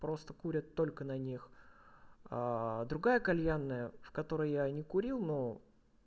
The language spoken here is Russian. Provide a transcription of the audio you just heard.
просто курят только на них другая кальянная в которой я не курил но